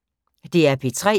DR P3